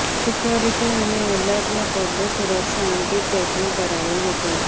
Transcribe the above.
security અને alert ને પગલે સુરક્ષા અંગે ચેકિંગ કરાયું હતું